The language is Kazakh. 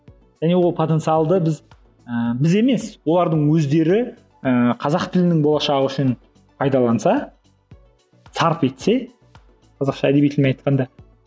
және ол потенциалды біз ііі біз емес олардың өздері і қазақ тілінің болашағы үшін пайдаланса сарп етсе қазақша әдеби тілмен айтқанда